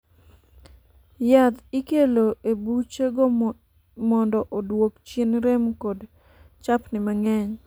yath ikelo e buche go mondo oduok chien rem kod chapni mang'eny